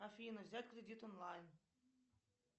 афина взять кредит онлайн